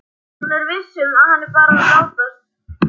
Hún er viss um að hann er bara að látast.